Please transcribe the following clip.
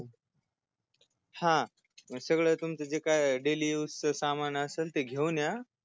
हा सगळ तुमच ते काय DAILY USE च जे सामान असल ते घेऊन या